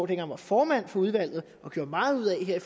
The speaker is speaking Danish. dengang var formand for udvalget gjorde meget ud af her